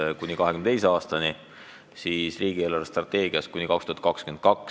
Meenutame natukene kevadet, kui valitsus arutas riigi eelarvestrateegiat kuni 2022. aastani.